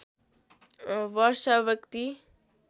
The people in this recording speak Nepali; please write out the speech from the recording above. वर्ष व्यक्ति